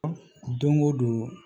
Don o don